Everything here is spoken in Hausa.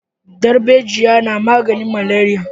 Darbejiya na maganin maleriya